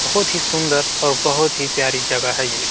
बोहोत ही सुंदर और बोहोत ही प्यारी जगह है ये।